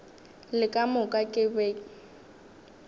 le ka moka ke be